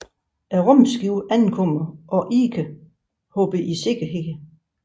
Rumskibet ankommer og Ike hopper i sikkerhed